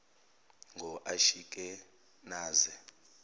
ngoashikenaze